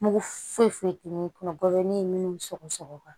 Mugu foyi foyi tɛ min kunna bɔli ye minnu sɔgɔ sɔgɔra